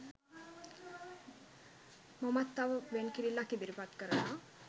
මමත් තව වෙන්කිරිල්ලක් ඉදිරිපත් කරනවා